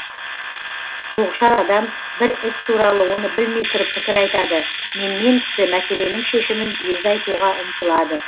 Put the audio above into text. тоғышар адам бір іс туралы оны білмей тұрып пікір айтады менмен кісі мәселенің шешімін өзі айтуға ұмтылады